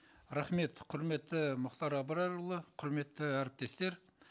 рахмет құрметті мұхтар абрарұлы құрметті әріптестер